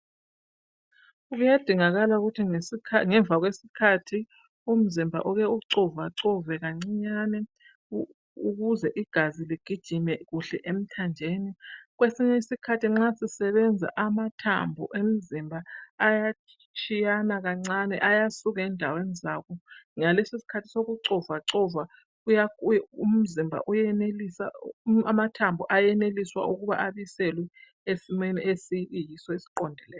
Kuyadingakala ukuthi, ngesikha -ngemva kwesikhathi, umzimba uke ucovacove kancinyane. Ukuze igazi ligijime kuhle emthanjeni. Kwesinye isikhathi nxa sisebenza, amathambo omzimba, ayatshiyana kancinyane. Ayasuka endaweni zawo. Ngalesisikhathi sokucovacova, amathambo ayenelisa, ukuthi abuyiselwe, esimeni sawo esiqondileyo.